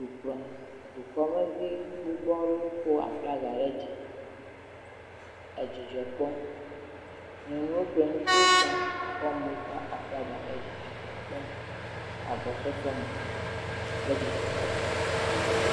Dukpla, dukɔmevi gbogbo aɖewo ko aflaga ɖe dzi le dzidzɔ kpɔm. Nyɔnuwo kple ŋutsuwo sia kɔ amewo ƒe aflaga ɖe dzi edzidzɔ kpɔm le agbɔsɔsɔ me le dzidzɔkpɔkpɔ…